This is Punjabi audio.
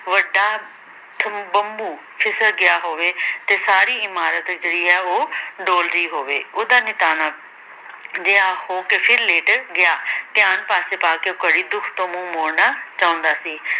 ਵੱਡਾ ਫਿਸਲ ਗਿਆ ਹੋਵੇ ਤੇ ਸਾਰੀ ਇਮਾਰਤ ਜਿਹੜੀ ਹੈ ਉਹ ਡੋਲਦੀ ਹੋਵੇ, ਉਹ ਤਾਂ ਨਿਤਾਣਾ ਜਿਹਾ ਹੋ ਕੇ ਫਿਰ ਲੇਟ ਗਿਆ ਧਿਆਨ ਪਾਸੇ ਪਾ ਕੇ ਉਹ ਘੜੀ ਦੁੱਖ ਤੋਂ ਮੂੰਹ ਮੋੜਨਾ ਚਾਹੁੰਦਾ ਸੀ।